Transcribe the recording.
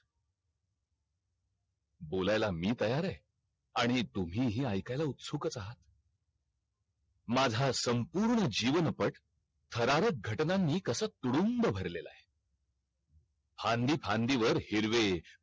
बोलायला मी तयार आहे आणि तुम्ही हि आयकायला उत्सुक आहात माझा संपूर्ण जीवन पट थरारक घटनांनी कसा तुडुंब भरलेला आहे फांदी फांदी वर हिरवे